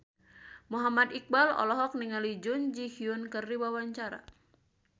Muhammad Iqbal olohok ningali Jun Ji Hyun keur diwawancara